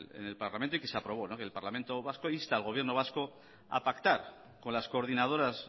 en el parlamento y que se aprobó el parlamento vasco insta al gobierno vasco a pactar con las coordinadoras